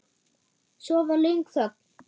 Svo var löng þögn.